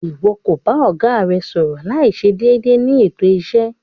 Iwọ ko ba ọga rẹ sọrọ laiṣe deede ni eto iṣe